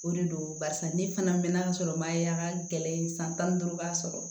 O de don barisa ne fana mɛna sɔrɔ n ma ya kɛlɛ san tan ni duuru b'a sɔrɔ